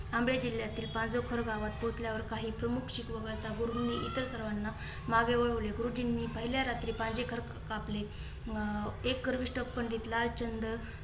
आमरे जिल्ह्यातील पाझफर गावात पोचल्यावर काही प्रमुख शीख वगळता गुरूजीनी इतर सर्वांना मागे वळवले. गुरुजींनी पहिल्या रात्री कापले अं ऐक गर्विष्ट पंडित लालचंद